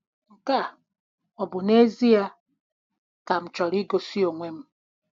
Nke a ọ bụ n'ezie ka m chọrọ igosi onwe m?